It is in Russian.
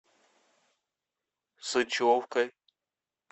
сычевкой